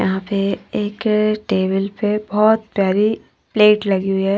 यहां पे एक टेबल पे बहुत प्यारी प्लेट लगी हुई है।